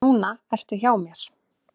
Núna ertu hjá mér.